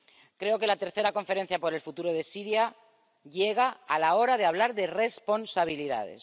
Creo que la tercera conferencia por el futuro de Siria llega a la hora de hablar de responsabilidades.